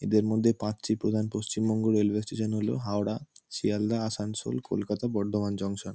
এদের মধ্যে পাঁচটি প্রধান রেলওয়ে স্টেশন হলো হাওড়া শিয়ালদা আসানসোল কলকাতা বর্ধমান জনক্শন ।